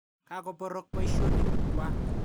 Ka koporoch poisyonik kwak.